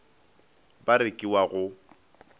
ba re ka wa go